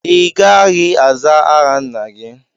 Ị gaghị azá aha nna gị!